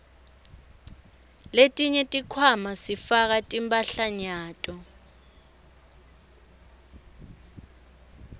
letinye tikhwama sifaka timphahlanyato